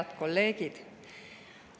Head kolleegid!